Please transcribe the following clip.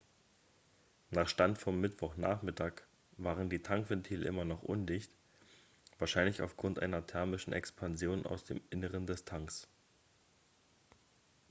nach stand vom mittwochnachmittag waren die tankventile immer noch undicht wahrscheinlich aufgrund einer thermischen expansion aus dem inneren des tanks